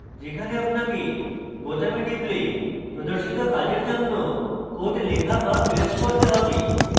যেখানে আপনাকে বোতামে টিপলে প্রদর্শিত কাজের জন্য code লেখা be paste করতে have